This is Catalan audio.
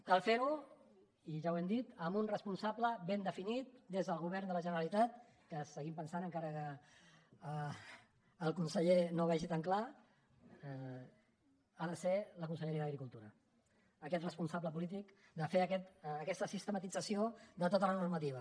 cal fer ho i ja ho hem dit amb un responsable ben definit des del govern de la generalitat que seguim pensant encara que el conseller no ho vegi tan clar que ha de ser la conselleria d’agricultura aquest responsable polític de fer aquesta sistematització de tota la normativa